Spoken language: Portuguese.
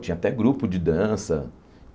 Tinha até grupo de dança.